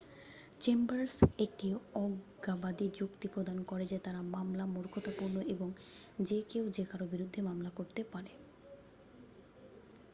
"""Chambers একটি অজ্ঞাবাদী যুক্তি প্রদান করে যে তার মামলা """মূর্খতাপূর্ণ""" এবং """যে কেউ যে কারো বিরুদ্ধে মামলা করতে পারে।""" "